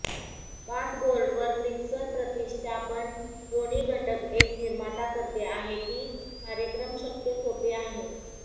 bath बोर्डवर mixer प्रतिष्ठापन दोन्ही घटक एक निर्माता करते आहे की कार्यक्रम शक्य सोपे आहे